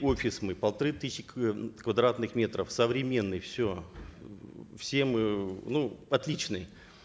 офис мы полторы тысячи квадратных метров современный все все мы ну отличный